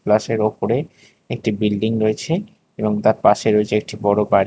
প্লাসের ওপরে একটি বিল্ডিং রয়েছে এবং তার পাশে রয়েছে একটি বড়ো বাড়ি।